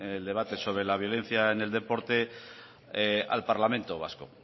el debate sobre la violencia en el deporte al parlamento vasco